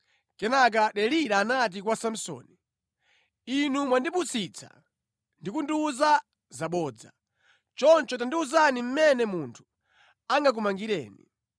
Kenaka Delila anati kwa Samsoni, “Inu mwandipusitsa ndi kundiwuza zabodza. Chonde tandiwuzani mmene munthu angakumangireni.”